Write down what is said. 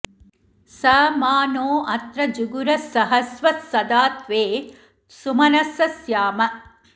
स मा नो अत्र जुहुरः सहस्वः सदा त्वे सुमनसः स्याम